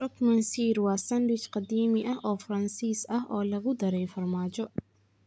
Croque monsieur waa sandwich qadiimi ah oo Faransiis ah oo lagu daray farmaajo.